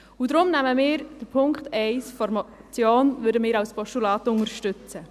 Deshalb würden wir den Punkt 1 der Motion als Postulat unterstützen.